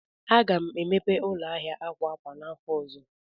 Aga m emepe ụlọ ahịa akwa akwa n'afọ ọzọ.